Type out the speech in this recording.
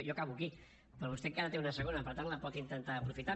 jo acabo aquí però vostè encara en té una segona per tant la pot intentar aprofitar